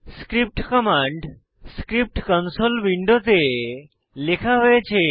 script command script console উইন্ডোতে লেখা হয়েছে